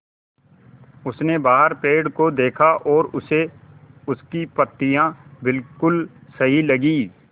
उसने बाहर पेड़ को देखा और उसे उसकी पत्तियाँ बिलकुल सही लगीं